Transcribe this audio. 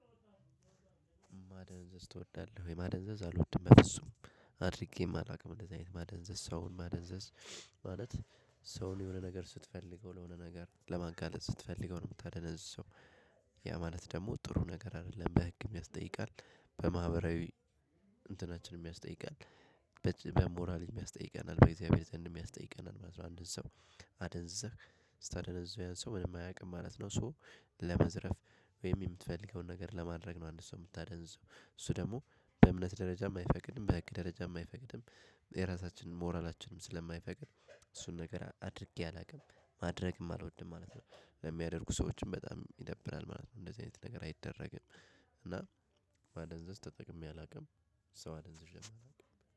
ማደንዘዝ እወዳለህ? ወይ ማደንዘዝ አልወድም በፍጹም አድርጌም አላውቅም እንደዚህ አይነት ማደንዘዝ ሰውን ማደንዘዝ ማለት ሰውን የሆነ ነገር ስትፈልገው ለሆነ ነገር ለማጋለጥ ስትፈልገው ነው የምታደነዝዘው። ያ ማለት ደግሞ ጥሩ ነገር አደለም በህግም ያስጠይቃል በማህበራዊ እንትናችንም ያስጠይቃል። በሞራሊም ያስጠይቀናል ባይዘወይ አንድን ሰው አደንዝዘህ ስታደነዝዘው ያንን ሰው ምንም አያቅም ማለት ነው። ሶ ለማዝረፍ ወይም የምትፈልገውን ነገር ለማድረግ ነው። አንድ ሰው የምታደነዝዘው እሱ ደግሞ በእምነት ደረጃም አይፈቅድም በህግ ደረጃም አይፈቅድም። የራሳችንን ሞራላችንንም ስለማይፈቅድ እሱን ነገር አድርጌ አላውቅም ማድረግም አልወድም ማለት ነው። በሚያደርጉ ሰዎችም በጣም ይደብራል ማለት ነው። እንደዚህ አይነት ነገር አይደረግም። እና ማደንዘዝ ተጠቅሜ አላውቅም። ሰው አደንዘዥ አላውቅም